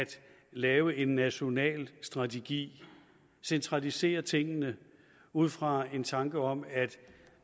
lave en national strategi centralisere tingene ud fra en tanke om at